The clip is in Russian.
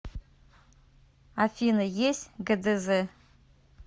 афина есть гдз